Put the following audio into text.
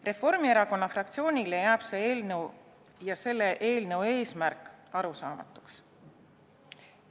Reformierakonna fraktsioonile jääb see eelnõu ja selle eelnõu eesmärk arusaamatuks.